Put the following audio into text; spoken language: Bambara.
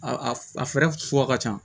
A a fɛɛrɛ suguya ka ca